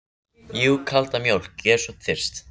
Jú, kalda mjólk, ég er svo þyrst.